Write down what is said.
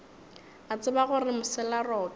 a tseba gore mosela roto